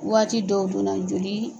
Waati dɔw joona joli